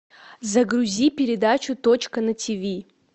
загрузи передачу точка на тиви